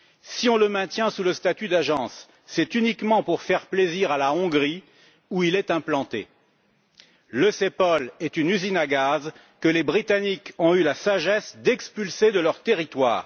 Si on le maintient sous le statut d'agence, c'est uniquement pour faire plaisir à la Hongrie, où il est implanté. Le CEPOL est une usine à gaz que les Britanniques ont eu la sagesse d'expulser de leur territoire.